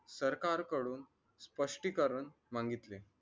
सरकारकडून स्पष्टीकरण मागितले